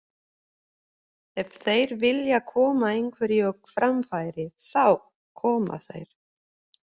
Ef þeir vilja koma einhverju á framfæri, þá koma þeir.